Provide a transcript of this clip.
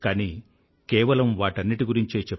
కానీ కేవలం వాటన్నింటి గురించే